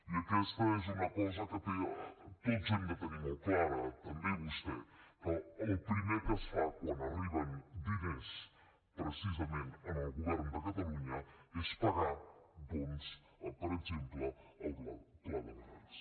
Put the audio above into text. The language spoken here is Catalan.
i aquesta és una cosa que tots hem de tenir molt clara també vostè que el primer que es fa quan arriben diners precisament al govern de catalunya és pagar doncs per exemple el pla de barris